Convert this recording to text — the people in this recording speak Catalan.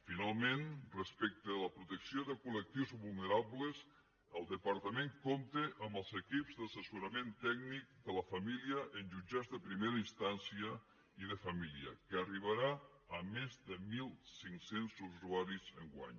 finalment respecte a la protecció de col·lectius vulnerables el departament compta amb els equips d’assessorament tècnic de la família en jutjats de primera instància i de família que arribaran a més de mil cinc cents usuaris enguany